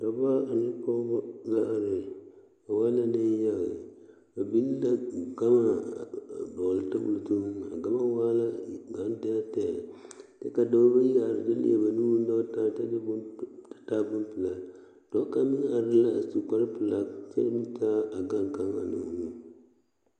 Noba la be kusinpelaa poɔ a be koɔ poɔ mane koɔ poɔ kyɛ ka dɔba mine meŋ a do te are a kusin kaŋ zu kyɛ tagra a bana na naŋ be a kusinpelaa poɔ a maneŋ.